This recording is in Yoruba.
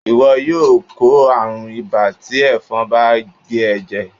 iwọ yóò kó arún ìbá ti efòn bá gé e jè.